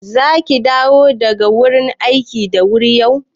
Zaki dawo daga wurin aiki da wuri yau?